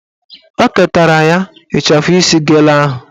O ketara ya ịchafụ isi gele ahụ